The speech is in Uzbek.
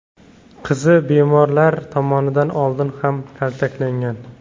Qizi bemorlar tomonidan oldin ham kaltaklangan.